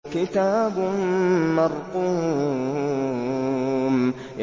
كِتَابٌ مَّرْقُومٌ